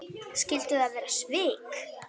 Skyldu það vera svik?